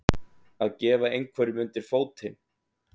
Að gefa einhverjum undir fótinn